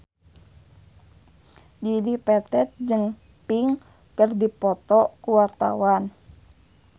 Dedi Petet jeung Pink keur dipoto ku wartawan